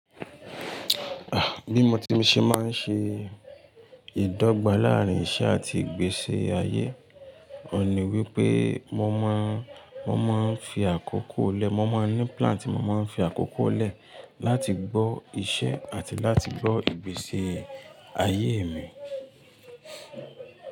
Ah! Bí mo ti ṣe máa ń ṣe ìdọ́gba láàárín iṣẹ́ àti ìgbésí ayé, òun ní wípé mo máa ń, mo máa ń fi àkókò lẹ́, mo máa ń ní plan tí mo máa ń fi àkókò lẹ́ láti gbọ́ iṣẹ́ àti láti gbọ́ ìgbésí ayé mi.